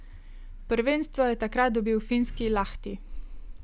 Prvenstvo je takrat dobil finski Lahti.